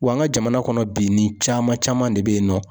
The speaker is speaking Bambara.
Wa an ka jamana kɔnɔ bi nin caman caman de be yen nɔ.